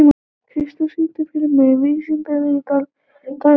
Kristjón, syngdu fyrir mig „Vítisengill á Davidson“.